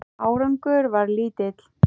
Árangur varð lítill.